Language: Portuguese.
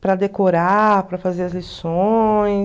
Para decorar, para fazer as lições.